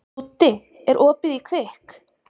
Dúddi, er opið í Kvikk?